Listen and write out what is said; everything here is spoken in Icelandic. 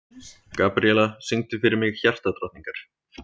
Gabríella, syngdu fyrir mig „Hjartadrottningar“.